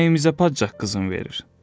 Bizim nəyimizə padşah qızın verir?